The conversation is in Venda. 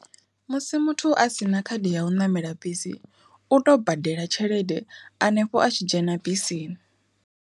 Musi muthu a sina khadi ya u ṋamela bisi u tou badela tshelede hanefho a tshi dzhena bisini.